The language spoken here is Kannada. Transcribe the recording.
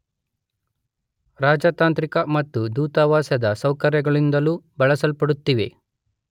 ರಾಜತಾಂತ್ರಿಕ ಮತ್ತು ದೂತಾವಾಸದ ಸೌಕರ್ಯಗಳಿಂದಲೂ ಬಳಸಲ್ಪಡುತ್ತಿವೆ.